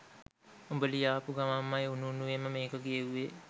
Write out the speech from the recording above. උඹ ලියාපු ගමන්මයි උණු උණුවේම මේක කියෙව්වේ